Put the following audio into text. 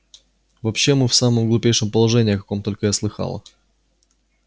вообще мы в самом глупейшем положении о каком только я слыхала